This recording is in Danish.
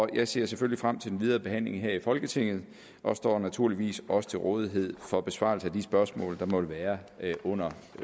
jeg ser selvfølgelig frem til den videre behandling her i folketinget og står naturligvis også til rådighed for besvarelse af de spørgsmål der måtte være under